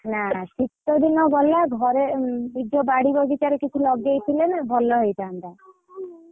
ନା କି ଶୀତଦିନ ଗଲା ଘରେ ନିଜ ବାଡି ବଗିଚାରେ କିଛି ଲଗେଇଥିଲେ ନା ଭଲ ହେଇଥାନ୍ତା।